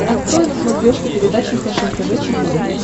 открой на смотрешке передачу фэшен тв четыре к